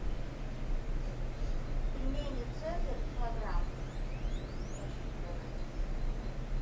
пельмени цезарь килограмм хочу заказать